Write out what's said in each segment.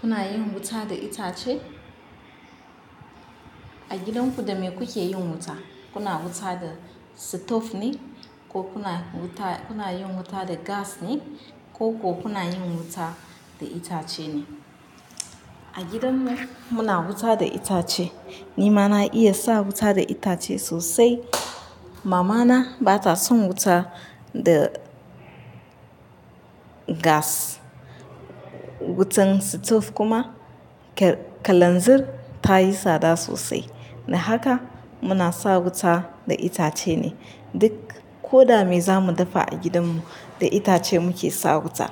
Kuna yin wuta da itace? A gidan ku da me kuke yin wuta, kuna wuta da sitof ne ko kuna wuta, kuna yin wuta da gas ne ko kuna yin wuta da itace ne. A gidan mu muna wuta da itace ni mana iya sa wuta da itace sosai. Mamana bata son wuta da gas, wutan sitof kuma kalanzir tayi tsada sosai. Don haka muna sa wuta da itace ne. Duk ko dame zamu dafa a gidan mu da itace muke sa wuta.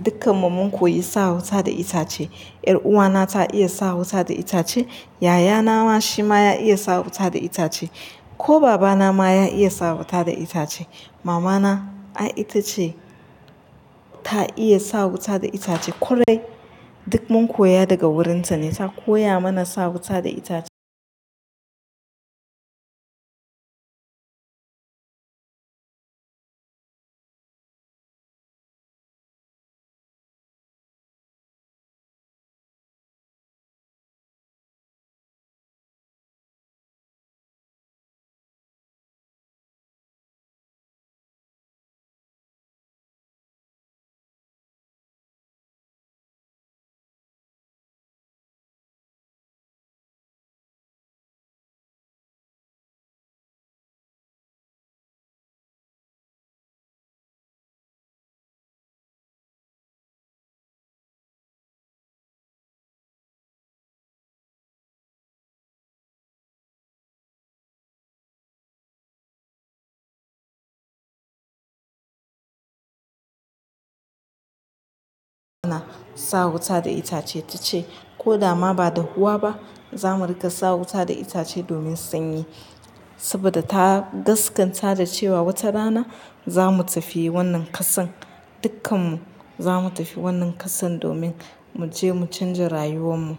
Dukkan mu mun koyi sa wuta da itace. Yar uwa na ta iya sa wuta da itace, yayana shi ma ya iya sa wuta da itace ko babana ma ya iya sa wuta da itace. Mamana ai ita ce ta iya sa wuta da itace. Korai duk mun koya daga wurin ta ne, ta koya mana sa wuta da itace. Sa wuta da itace ta ce ko dama ba da huwa ba zamu rika sa wuta da itace domin sanyi. Saboda ta gaskanta da cewa wata rana zamu tafi wannan kasan, dukkannu zamu tafi wannan kasan domin mu je mu canza rayuwan mu.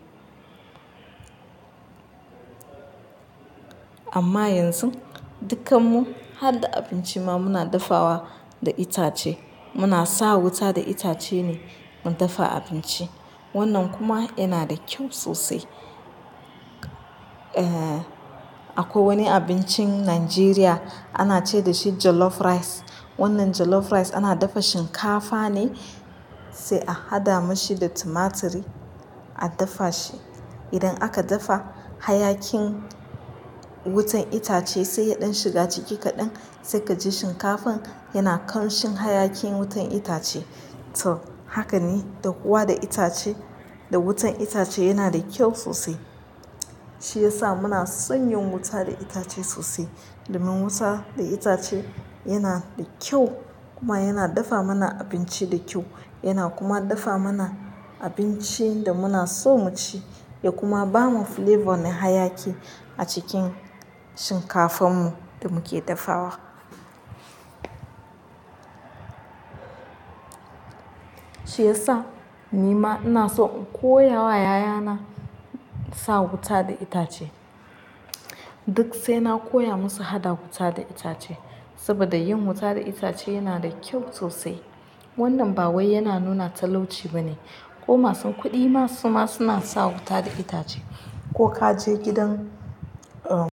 Amma yanzu dukkannu har da abinci muna dafawa da itace. Muna sa wuta da itace ne mun dafa abinci. Wannan kuma yana da kyau sosai. Eh, akwai wani abincin Najeriya ana ce da shi jollof rice. Wannan jollof rice ana dafa shinkafa ne sai a hada mashi da tumaturi a dafa shi. Idan aka dafa hayakin wutan itace sai ya ɗan shiga ciki kaɗan sai ka ji shinkafan yana ƙamshin hayakin wutan itace. To haka ne, dahuwa da itace da wutan itace yana da kyau sosai. Shi ya sa muna son yin wuta da itace sosai. Domin wuta da itace yana da kyau kuma yana dafa mana abinci da kyau. Yana kuma dafa mana abincin da muna so mu ci ya kuma bamu flavor ne hayaki a cikin shinkafan mu da muke dafawa. Shi ya sa ni ma ina so in koya wa yayana sa wuta da itace. Duk sai na koya musu hada wuta da itace saboda yin wuta da itace yana da kyau sosai. Wannan ba wai yana nuna talauci ba ne. Ko masu kuɗi ma su ma suna sa wuta da itace ko ka je gidan, eh.